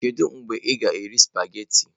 Kedu mgbe ị ga-eri sụpaghetị?